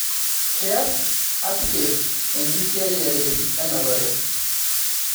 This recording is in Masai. keas artcafe enkisiayiare enapare